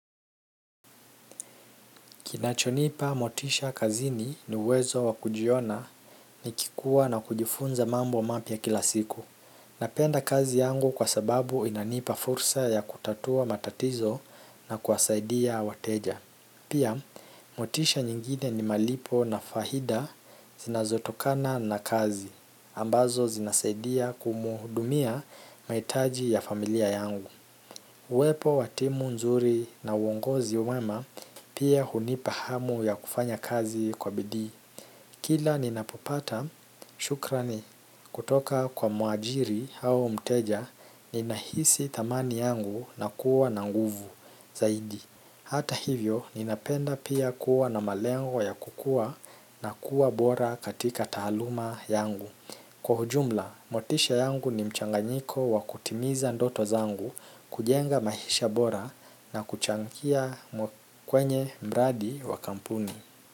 Kinachonipa motisha kazini ni uwezo wa kujiona nikikua na kujifunza mambo mapya kila siku. Napenda kazi yangu kwa sababu inanipa fursa ya kutatua matatizo na kuwasaidia wateja. Pia, motisha nyingine ni malipo na faida zinazotokana na kazi, ambazo zinasaidia kuhudumia mahitaji ya familia yangu. Uwepo wa timu nzuri na uongozi wema pia hunipa hamu ya kufanya kazi kwa bidii. Kila ninapopata, shukrani. Kutoka kwa mwajiri au mteja, ninahisi thamani yangu na kuwa na nguvu zaidi. Hata hivyo, ninapenda pia kuwa na malengo ya kukua na kuwa bora katika taaluma yangu. Kwa ujumla, motisha yangu ni mchanganyiko wa kutimiza ndoto zangu kujenga maisha bora na kuchangia kwenye mradi wa kampuni.